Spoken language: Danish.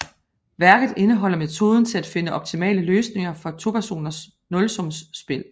Værket indeholder metoden til at finde optimale løsninger for topersoners nulsumsspil